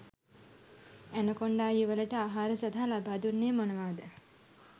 Anaconda යුවලට ආහාර සඳහා ලබාදුන්නේ මොනවාද?